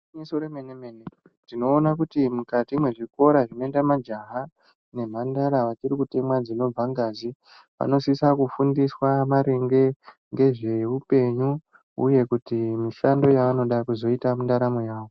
Igwinyiso remene mene tinoona kuti mukati mwezvikora zvinoenda majaha nemhandara vachiri kutemwa dzinobva ngazi vanosisa kufundiswa maringe ngezveupenyu uye kuti mishando yavonoda kuzoita mundaramo yavo